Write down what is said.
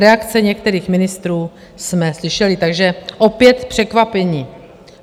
Reakce některých ministrů jsme slyšeli, takže opět překvapení.